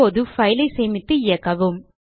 இப்போது fileஐ சேமித்து இயக்கவும்